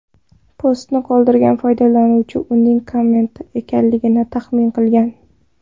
Postni qoldirgan foydalanuvchi uning kometa ekanligini taxmin qilgan.